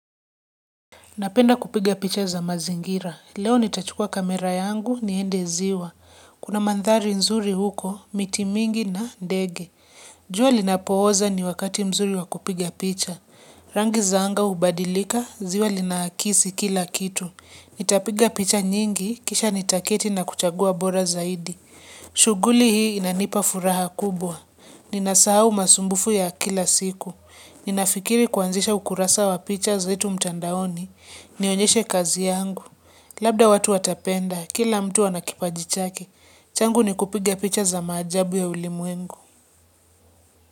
Napenda kupiga picha za mazingira. Leo nitachukua kamera yangu, niende ziwa. Kuna mandhari nzuri huko, miti mingi na ndege. Jua linapooza ni wakati mzuri wa kupiga picha. Rangi za anga hubadilika, ziwa linakisi kila kitu. Nitapiga picha nyingi, kisha nitaketi na kuchagua bora zaidi. Shughuli hii inanipa furaha kubwa. Ninasahau masumbufu ya kila siku. Ninafikiri kuanzisha ukurasa wa picha zetu mtandaoni. Nionyeshe kazi yangu. Labda watu watapenda, kila mtu ana kipaji chake. Changu ni kupiga picha za maajabu ya ulimwengu.